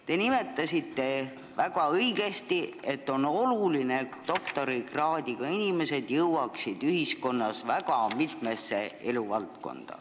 Te nimetasite väga õigesti, et on oluline, et doktorikraadiga inimesed jõuaksid väga mitmesse eluvaldkonda.